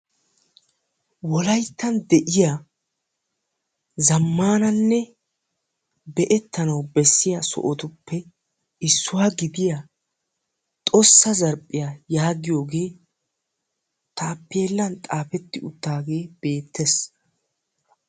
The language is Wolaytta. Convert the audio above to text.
Wolayttan de'iya zammanannne be'ettanawu bessiya issuwa gidiya xossa zarphiya yaagiyagee taappeellan xaafetti uttaagee beettes.